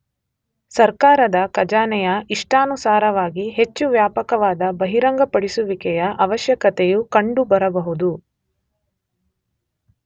ಸರ್ಕಾರದ ಖಜಾನೆಯ ಇಷ್ಟಾನುಸಾರವಾಗಿ ಹೆಚ್ಚು ವ್ಯಾಪಕವಾದ ಬಹಿರಂಗಪಡಿಸುವಿಕೆಯ ಅವಶ್ಯಕತೆಯು ಕಂಡುಬರಬಹುದು.